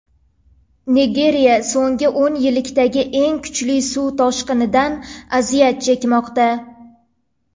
Nigeriya so‘nggi o‘n yillikdagi eng kuchli suv toshqinidan aziyat chekmoqda.